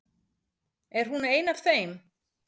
Er hún ein af þeim?